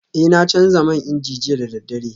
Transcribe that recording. Eh na canza man inji jiya da daddare